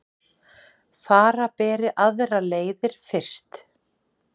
Fara beri aðrir leiðir fyrst